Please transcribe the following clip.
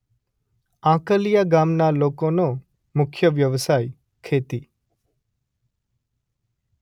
આંકલીયા ગામના લોકોનો મુખ્ય વ્યવસાય ખેતી